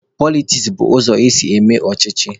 Politiks bụ ụzọ esi eme ọchịchị.